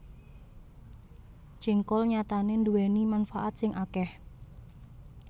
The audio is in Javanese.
Jéngkol nyatané nduwèni manfaat sing akèh